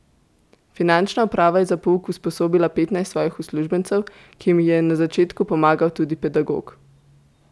Finančna uprava je za pouk usposobila petnajst svojih uslužbencev, ki jim je na začetku pomagal tudi pedagog.